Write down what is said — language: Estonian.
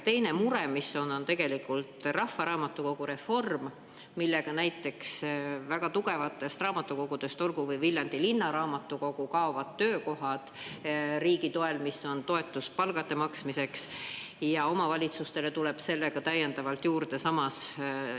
Teine mure on rahvaraamatukogureform, millega näiteks väga tugevatest raamatukogudest, olgu või Viljandi Linnaraamatukogu, kaovad riigi toetatud töökohad, on olnud toetus palkade maksmiseks, ja omavalitsustele tuleb seetõttu täiendavalt juurde.